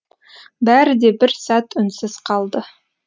бәрі де бір сәт үнсіз қалды